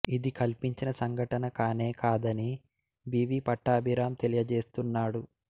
ఇది కల్పించిన సంఘటన కానే కాదనీ బి వి పట్టాభిరాం తెలియచేస్తున్నాడు